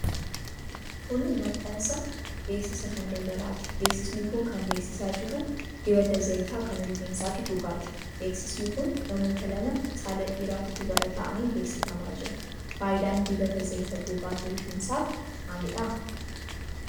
Kun, maxxansa beeksisaa kan daldalaati. Beeksisni kun, kan beeksisaa jiru dibata zayitaa kan rifeensaa fi gogaati. Beeksisni kun, namoota lama saalaan dhiiraa fi dubara ta'aniin bebeeksifamaa jjra. Faayidaan dibata zayitaa gogaa fi rifeensaaf maalidha?